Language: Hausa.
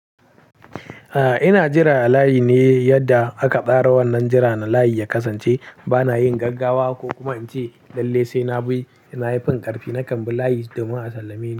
A ina jira layi ne yadda aka tsara wannan jiran layi ya kasance bana yin gaggawa ko kuma in ce lallai sai na bi, na yi fin karfi na nakan bi layi domin a sallame ni.